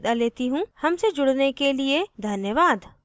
हमसे जुड़ने के लिए धन्यवाद